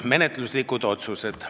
Menetluslikud otsused.